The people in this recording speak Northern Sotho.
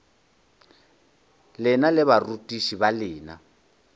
lena le barutiši ba lena